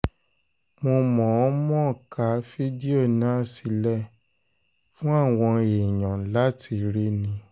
mo mọ̀-ọ́n-mọ̀ ka fídíò náà sílẹ̀ fún àwọn èèyàn láti rí ni